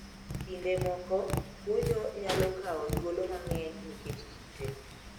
Kinde moko kunyo nyalo kawo thuolo mang`eny nikech kite.